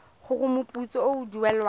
gore moputso o o duelwang